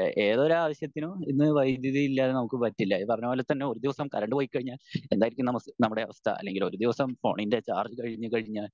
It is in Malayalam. എഹ് ഏതൊരാവശ്യത്തിനും ഇന്ന് വൈധ്യുതി ഇല്ലാതെ നമുക് പറ്റില്ല ഈ പറഞ്ഞ പോലെ തന്നെ ഒരു ദിവസം കറണ്ട് പോയി കഴിഞ്ഞാൽ എന്തായിരിക്കും നമ്മുടെ അവസ്ഥ അല്ലെങ്കിൽ ഒരു ദിവസം ഫോണിൻ്റെ ചാർജ് കഴിഞ്ഞു കഴിഞ്ഞാൽ